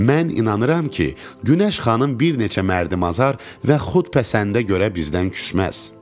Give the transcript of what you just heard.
Mən inanıram ki, günəş xanım bir neçə mərd-mazar və xudpəsəndə görə bizdən küsməz.